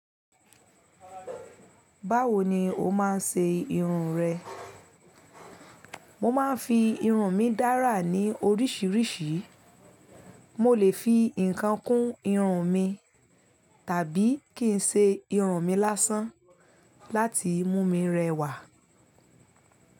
Báwo ni o máa ń ṣe irun rẹ? Mo máa ń fi irun mí dára ní oríṣiríṣi. Mo lè fi nǹkan kún irun mi, tàbí kí n ṣe irun mi lásán láti mú mi rẹwà.